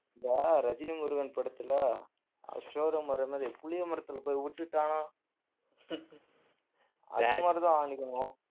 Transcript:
இந்த ரஜினி முருகன் படத்துல showroom வர்ற மாதிரி புளிய மரத்துல போய் உட்டுட்டான்னா அது மாதிரிதான் அன்னைக்கு மோ~